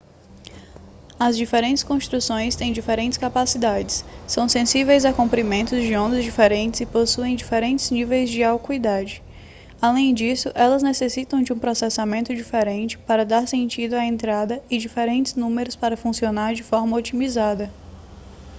as diferentes construções têm diferentes capacidades são sensíveis a comprimentos de onda diferentes e possuem diferentes níveis de acuidade além disso elas necessitam de um processamento diferente para dar sentido à entrada e diferentes números para funcionar de forma otimizada